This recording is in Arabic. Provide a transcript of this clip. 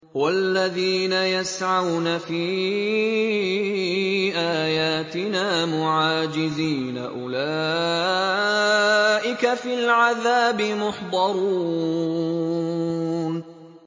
وَالَّذِينَ يَسْعَوْنَ فِي آيَاتِنَا مُعَاجِزِينَ أُولَٰئِكَ فِي الْعَذَابِ مُحْضَرُونَ